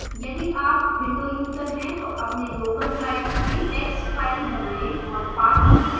यदि आप windows user हैं तो अपने local drive में text file बनाएँ और path निर्दिष्ट करें